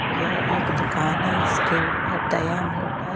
यह एक दुकान है इसके ऊपर दया मोटा --